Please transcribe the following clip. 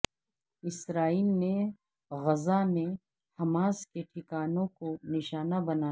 اسرائیل نے غزہ میں حماس کے ٹھکانوں کو نشانہ بنایا